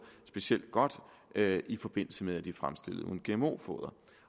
specielt godt i forbindelse med at de er fremstillet uden gmo foder